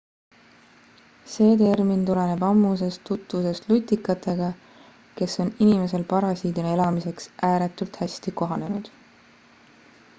see termin tuleneb ammusest tutvusest lutikatega kes on inimesel parasiidina elamiseks ääretult hästi kohanenud